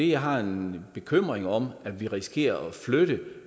jeg har en bekymring om at vi risikerer at flytte